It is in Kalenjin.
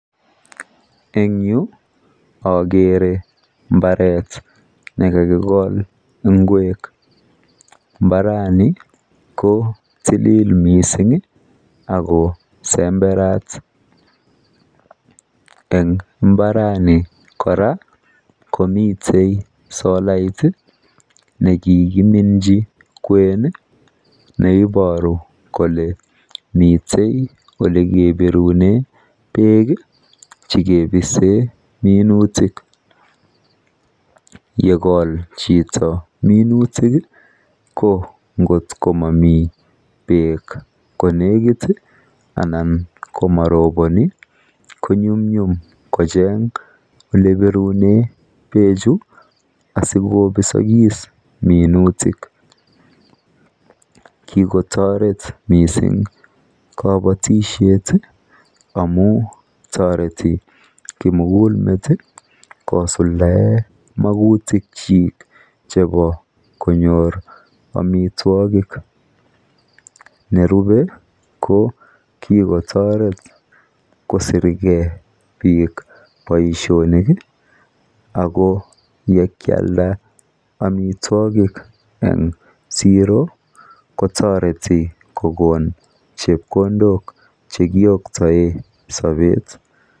en yuu ogere mbareet negakigool ngweek, mbarani ko tilil mising iih ago semberaat, en imbarani kora komiten solait iih negekiminchi kween iih neiboru kole miten elekebirunen beek chekibiseen minutik, yekool chito minutik iih ko ngot komomii beek konegit iih anan komoroboni, konyumnyum kocheng elebiruneen beechu asigobisogis minutik, kigotoret mising kobotishet amuun toreti kimuguuk meet iih kosuldaem magutik kyiik chebo konyoor omitwogik, nerube ko kigotoret kosirgee biiik boishonik iih ago yekyalda omitwogik en zero kotoreti kogoon chepkondook chekioktoee sobet.